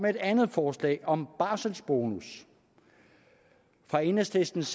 at andet forslag om barselsbonus fra enhedslistens